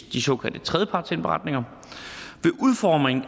de såkaldte tredjepartsindberetninger